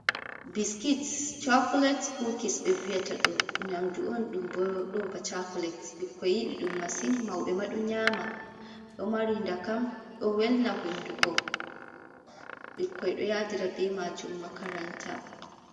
biskits cocolate kuukis ɓe vi'ata ɗum, nyamdu on, cocolate bikkoi yiɗi ɗum masin mawɓe maa ɗo nyaama ɗo mari ndakam ɗo welna hunndu koɓikki ɗo yaadira bee maajum makaranta.